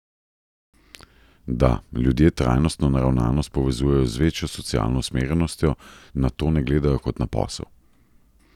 Da, ljudje trajnostno naravnanost povezujejo z večjo socialno usmerjenostjo, na to ne gledajo kot na posel.